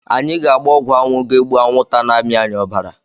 Anyị ga-agba ọgwụ anwụ ga-egbu anwụnta na amị anyị obara